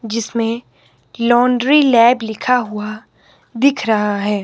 जिसमें laundry lab लिखा हुआ दिख रहा है।